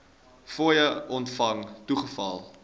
fooie ontvang toegeval